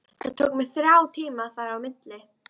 Það tók mig þrjá tíma að fara á milli.